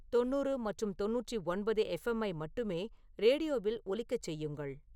தொண்ணூறு மற்றும் தொண்ணூற்றி ஒன்பது எஃப் எம் ஐ மட்டுமே ரேடியோவில் ஒலிக்கச் செய்யுங்கள்.